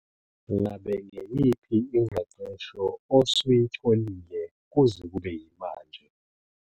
Ngabe ngeyiphi ingqeqesho osuyitholile kuze kube yimanje?